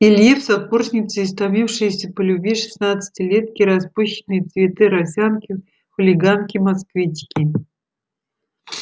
илье в сокурсницы истомившиеся по любви шестнадцатилетки распущенные цветы росянки хулиганки-москвички